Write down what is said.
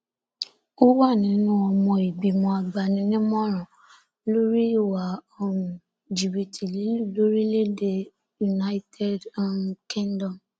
ó wà nínú ọmọ ìgbìmọ agbaninímọràn lórí ìwà um jìbìtì lílù lórílẹèdè united um kingdom